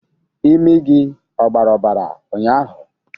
imi gị ọ gbara obara ụnyahụ?